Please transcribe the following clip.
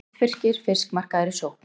Vestfirskir fiskmarkaðir í sókn